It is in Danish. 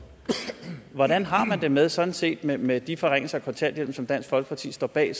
hvordan har man det med sådan set med med de forringelser af kontanthjælpen som dansk folkeparti står bag